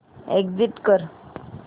exit कर